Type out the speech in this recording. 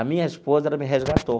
A minha esposa, ela me resgatou.